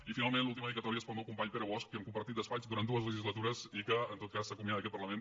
i finalment l’última dedicatòria és per al meu company pere bosch que hem compartit despatx durant dues legislatures i que s’acomiada d’aquest parlament